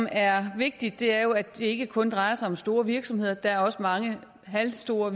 er vigtigt er jo at det ikke kun drejer sig om store virksomheder der er også mange halvstore